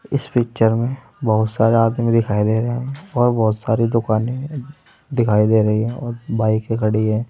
इस पिक्चर में बहुत सारे आदमी दिखाई दे रहे हैं और बहुत सारी दुकानें दिखाई दे रही हैं और बाईकें खड़ी हैं।